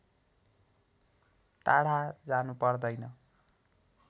टाढा जानु पर्दैन